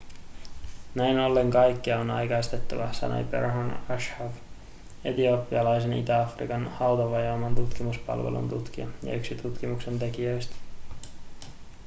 näin ollen kaikkea on aikaistettava sanoi berhane asfaw etiopialaisen itä-afrikan hautavajoaman tutkimuspalvelun tutkija ja yksi tutkimuksen tekijöistä